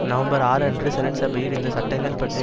November ஆறு அன்று senate சபையில் இந்த சட்டங்கள் பற்றிய